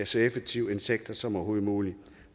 så effektiv en sektor som overhovedet muligt